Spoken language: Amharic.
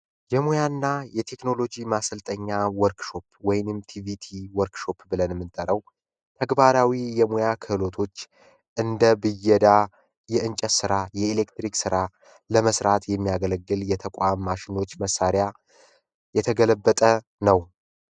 የሙያ እና የቴክኖሎጂ ማስልጠኛ ወርክሾፕ ወይንም ቲቪቲ ወርክ ሾፕ ብለን የምንጠራው ተግባራዊ የሙያ ክህሎቶች እንደ ብየዳ የእንጨት ሥራ የኤሌክትሪክ ሥራ ለመስራት የሚያገለግል የተቋም ማሽኖች መሣሪያ የተገለበጠ ነው።